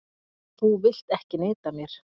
Þú vilt ekki neita mér.